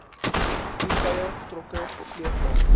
voertuie trokke sleepwaens